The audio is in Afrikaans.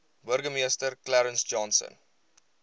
burgemeester clarence johnson